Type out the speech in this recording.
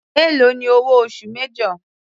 Èló ni owó oṣù major.